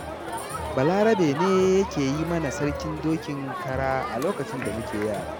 Balarabe ne yake yi mana sarkin dokin kara a lokacin da muke yara.